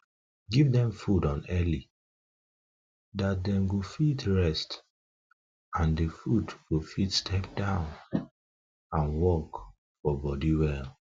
give them food on food on early dat them go fit rest and the food go fit step down and work for body well